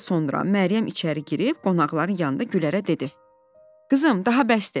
Bir az sonra Məryəm içəri girib qonaqların yanında Gülərə dedi: "Qızım, daha bəsdir.